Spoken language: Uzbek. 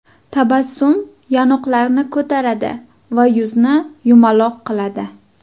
Tabassum yonoqlarni ko‘taradi va yuzni yumaloq qiladi.